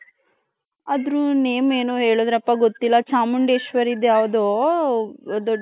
other name ಏನೋ ಹೇಳದ್ರಪ್ಪ ಗೊತ್ತಿಲ್ಲ ಚಾಮುಂಡೇಶ್ವರಿ ದು ಯಾವ್ದೊ